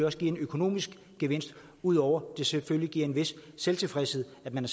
også giver en økonomisk gevinst ud over det selvfølgelig giver en vis tilfredsstillelse at man